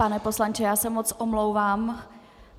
Pane poslanče, já se moc omlouvám.